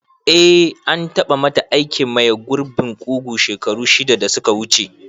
Eh, an tabamata aikin maye gurbin kugu shekaru shida da suka wuce.